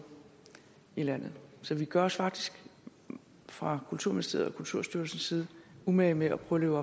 i landet så vi gør os faktisk fra kulturministeriets og kulturstyrelsens side umage med at prøve